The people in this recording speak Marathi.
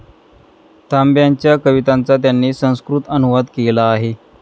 तांब्यांच्या कवितांचा त्यांनी संस्कृत अनुवाद केला आहे.